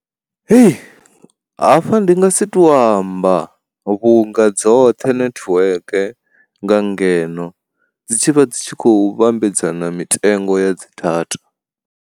Hei, hafha ndi nga si to amba vhunga dzoṱhe nethiweke nga ngeno dzi tshivha dzi tshi khou vhambedzana mitengo ya dzi data.